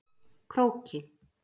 Króki